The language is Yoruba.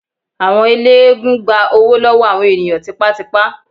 Àwọn ẹlẹ́gùn-ún gbá owó lọ́wọ́ àwọn ènìyàn tipátipá.